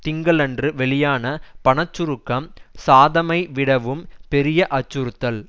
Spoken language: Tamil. திங்களன்று வெளியான பண சுருக்கம் சாதமைவிடவும் பெரிய அச்சுறுத்தல்